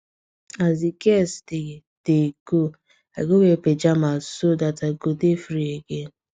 as the guest dey dey go i go wear pajamas so that i go dey free again